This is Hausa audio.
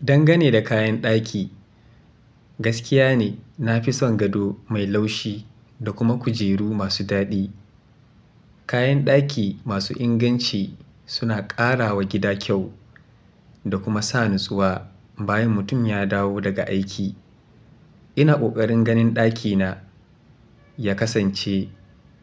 Dangane da kayan daki, gaskiya ne na fi son gado mai laushi da kuma kujeru masu dadi. Kayan ɗaki masu inganci suna ƙarawa gida kyau da kuma sa natsuwa bayan mutum ya dawo daga aiki. Ina kokarin ganin ɗakina ya kasance